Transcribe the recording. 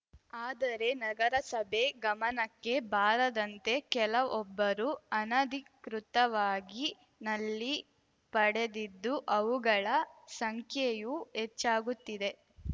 ಆದರೆ ನಗರಸಭೆ ಗಮನಕ್ಕೆ ಬಾರದಂತೆ ಕೆಲವೊಬ್ಬರು ಅನಧಿಕೃತವಾಗಿ ನಲ್ಲಿ ಪಡೆದಿದ್ದುಅವುಗಳ ಸಂಖ್ಯೆಯೂ ಹೆಚ್ಚಾಗುತ್ತಿದೆ